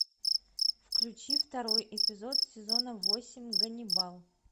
включи второй эпизод сезона восемь ганнибал